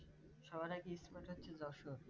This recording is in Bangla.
সবার আগে Spot হচ্ছে যশোর